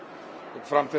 fram til